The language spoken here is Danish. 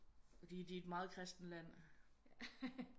Og de de er et meget kristent land